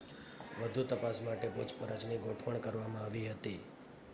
વધુ તપાસ માટે પૂછપરછની ગોઠવણ કરવામાં આવી હતી